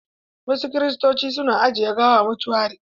Wasu Kiristoci su na ajiye gawa a motuari.